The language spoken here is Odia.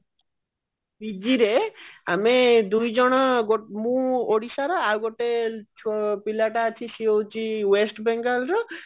PG ରେ ଆମେ ଦୁଇଜଣ ମୁଁ ଓଡିଶାର ଆଉ ଗୋଟେ ପିଲାଟା ଅଛି ସିଏ ହଉଛି west ବେଙ୍ଗଲ ର